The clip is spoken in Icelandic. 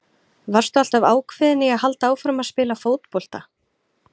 Varstu alltaf ákveðinn í að halda áfram að spila fótbolta?